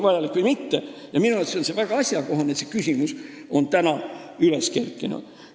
Nii et minu arvates on see väga asjakohane, et see küsimus on üles kerkinud.